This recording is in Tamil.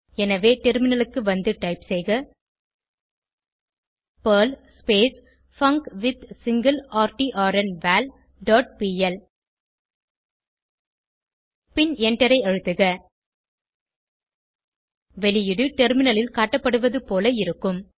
எனவே டெர்மினலுக்கு வந்து டைப் செய்க பெர்ல் பங்க்வித்சிங்கிளர்ட்ன்வால் டாட் பிஎல் பின் எண்டரை அழுத்துக வெளியீடு டெர்மினலில் காட்டப்படுவதுபோல இருக்கும்